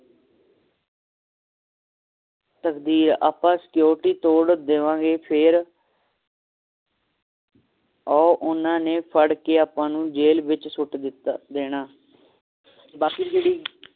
ਤਕਦੀਰ ਆਪਾਂ security ਤੋੜ ਦੇਵਾਂਗੇ ਫੇਰ ਉਹ ਓਹਨਾ ਨੇ ਫੜ ਕੇ ਆਪਾਂ ਨੂੰ ਜੇਲ ਵਿਚ ਸੁੱਟ ਦੇਣਾ ਬਾਕੀ ਜਿਹੜੀ